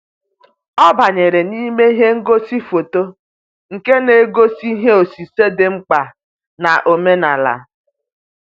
Ọ banyere n'ime ihe ngosi foto nke na-egosi ihe osise dị mkpa na-omenala.